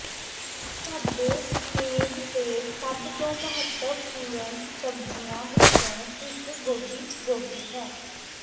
ਸਾਡੇ ਮੇਜ਼ ਤੇ ਸਭ ਤੋਂ ਮਹੱਤਵਪੂਰਣ ਸਬਜ਼ੀਆਂ ਵਿੱਚੋਂ ਇਕ ਗੋਭੀ ਗੋਭੀ ਹੈ